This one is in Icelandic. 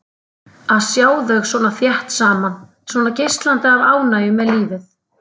Að sjá þau svona þétt saman, svona geislandi af ánægju með lífið.